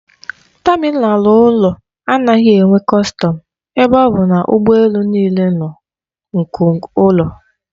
Tamịnal ụlọ anaghị enwe kọstọm ebe ọ bụ na ụgbọ elu niile nụ nke ụlọ.